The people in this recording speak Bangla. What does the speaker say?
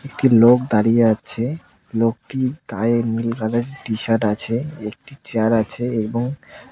একটি লোক দাঁড়িয়ে আছে লোকটির গায়ে নীল কালারের টিশার্ট আছে একটি চেয়ার আছে এবং--